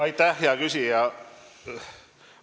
Aitäh, hea küsija!